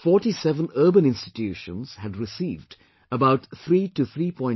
47 urban institutions had received about 3 to 3